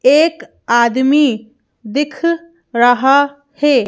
एक आदमी दिख रहा है।